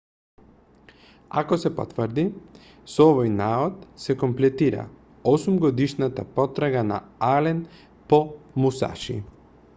ако се потврди со овој наод се комплетира осумгодишната потрага на ален по мусаши